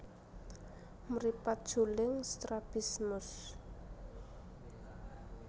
Mripat juling strabismus